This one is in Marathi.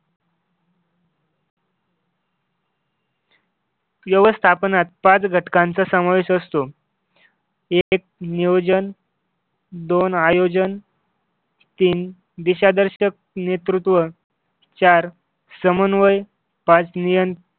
व्यवस्थापनात पाच घटकांचा समावेश असतो. एक नियोजन दोन आयोजन तीन दिशादर्शक नेतृत्व चार समन्वय पाच निय